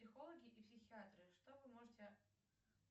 психологи и психиатры что вы можете